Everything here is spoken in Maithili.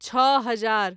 छओ हजार